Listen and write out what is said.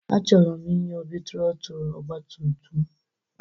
Achọrọ m inye Obi trọtụlụ ọgbatumtum.